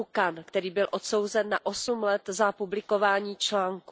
Wu Gan, který byl odsouzen na 8 let za publikování článků.